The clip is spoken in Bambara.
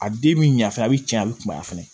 A den mi ɲɛ fɛnɛ a be cɛn a be kunbaya fɛnɛ